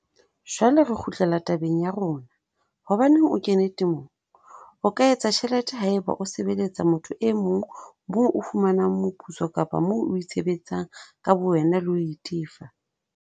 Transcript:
Jwale re kgutlela tabeng ya rona, hobaneng o kene temong? O ka etsa tjhelete ha eba o sebeletsa motho e mong moo o fumanang moputso kapa moo o itshebetsang ka bowena le ho itefa.